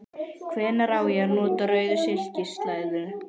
Hvenær á ég að nota rauða silkislæðu?